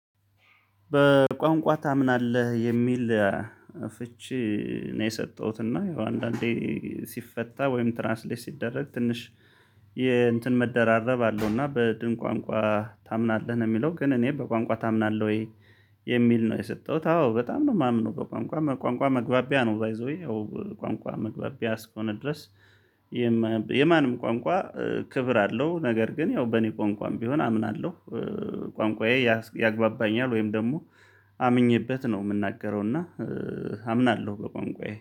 በቋንቋ ታምናለህ? የሚል ፍቺ ነው የሰጠሁት እና ያው አንዳንዴ ሲፈታ ወይም ትራንስሌት ሲደረግ ትንሽ የእንትን መደራረብ አለው እና በድን ቋንቋ ታምናለህ? የሚለው ግን እኔ በቋንቋ ታምናለህ ወይ የሚል ነው የሰጠሁት አዎ በጣም ነው የማምነው በቋንቋ። ቋንቋ መግባቢያ ነው ባይ ዘ ዌይ ያው ቋንቋ መግባቢያ እስኮነ ድረስ የማንም ቋንቋ ክብር አለው። ነገር ግን ያው በእኔ ቋንቋም ቢሆን አምናለሁ። ቋንቋዬ ያግባባኛል ወይም ደግሞ አምኜበት ነው የምናገረው እና አምናለሁ በቋንቋዬ።